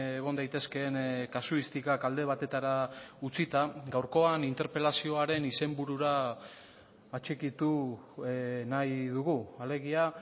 egon daitezkeen kasuistikak alde batetara utzita gaurkoan interpelazioaren izenburura atxikitu nahi dugu alegia